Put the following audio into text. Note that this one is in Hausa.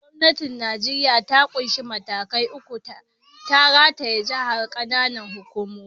Gwamnatin Nijeriya ta ƙunshi matakai uku: tarayya, jiha, da ƙananan hukumomi.